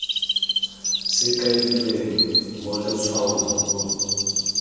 se kailweng mo letshwaong o